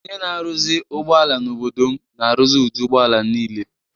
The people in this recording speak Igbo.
Onye na-arụzi ụgbọala n’obodo m na-arụzi ụdị ụgbọ ala niile.